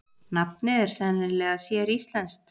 Nafnið er sennilega séríslenskt.